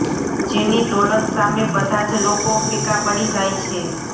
જેની દોલત સામે બધા જ લોકો ફીકા પડી જાય છે